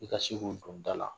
I ka se k'u don da la.